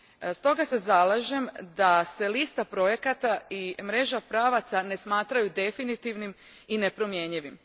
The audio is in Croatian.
Stoga se zalažem da se lista projekata i mreža pravaca ne smatraju definitivnim i nepromjenjivim.